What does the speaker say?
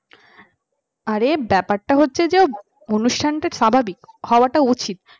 আরে ব্যাপারটা হচ্ছে যে অনুষ্ঠানটা স্বাভাবিক হওয়াটা উচিত